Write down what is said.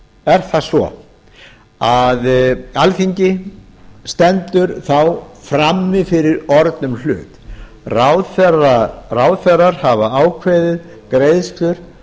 er það svo að alþingi stendur þá frammi fyrir orðnum hlut ráðherrar hafa ákveðið greiðslur